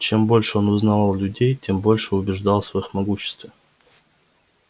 чем больше он узнавал людей тем больше убеждался в их могуществе